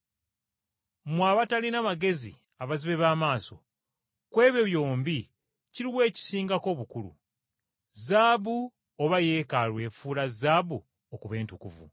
Mmwe abatalina magezi abazibe b’amaaso! Ku ebyo byombi kiruwa ekisingako obukulu, zaabu oba Yeekaalu efuula zaabu okuba entukuvu?